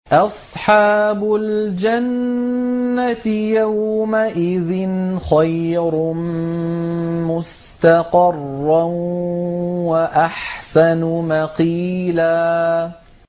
أَصْحَابُ الْجَنَّةِ يَوْمَئِذٍ خَيْرٌ مُّسْتَقَرًّا وَأَحْسَنُ مَقِيلًا